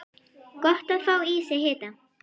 Gott að fá í sig hita.